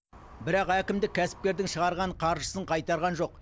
бірақ әкімдік кәсіпкердің шығарған қаржысын қайтарған жоқ